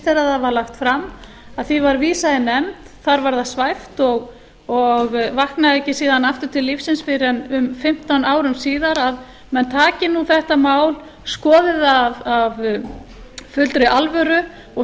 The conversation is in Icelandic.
þegar það var lagt fram að því var vísað í nefnd þar var það svæft og vaknaði ekki síðan aftur til lífsins fyrr en um fimmtán árum síðar að menn taki nú þetta mál skoði það af fullri alvöru og